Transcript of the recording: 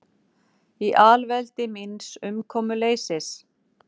Í alveldi míns umkomuleysis.